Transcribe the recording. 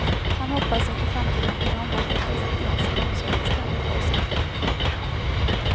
Han hoppas att i framtiden kunna omarbeta sitt lexikon så att det ständigt hålls aktuellt.